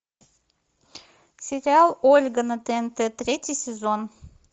сериал ольга на тнт третий сезон